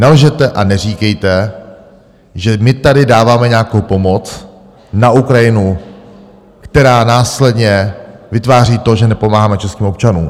Nelžete a neříkejte, že my tady dáváme nějakou pomoc na Ukrajinu, která následně vytváří to, že nepomáháme českým občanům.